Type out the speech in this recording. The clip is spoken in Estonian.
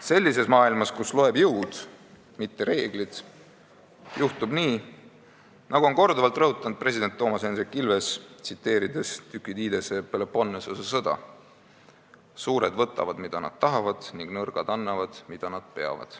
Sellises maailmas, kus loeb jõud, mitte reeglid, juhtub nii, nagu on korduvalt rõhutanud president Toomas Hendrik Ilves, tsiteerides Thukydidese "Peloponnesose sõja ajalugu": "Tugevad võtavad, mida nad suudavad, ja nõrgad annavad, mida nad peavad.